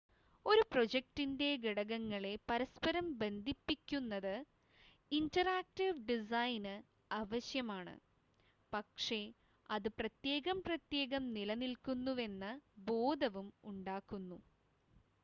ഒരു പ്രോജക്റ്റിൻ്റെ ഘടകങ്ങളെ പരസ്പരം ബന്ധിപ്പിക്കുന്നത് ഇൻ്റെറാക്ടീവ് ഡിസൈന് ആവശ്യമാണ് പക്ഷേ അത് പ്രത്യേകം പ്രത്യേകം നിലനിക്കുന്നുവെന്ന ബോധവും ഉണ്ടാക്കുന്നു